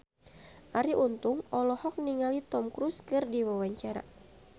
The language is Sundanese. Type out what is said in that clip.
Arie Untung olohok ningali Tom Cruise keur diwawancara